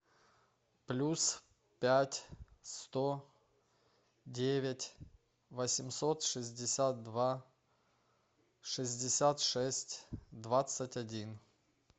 плюс пять сто девять восемьсот шестьдесят два шестьдесят шесть двадцать один